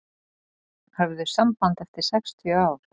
Höfðu samband eftir sextíu ár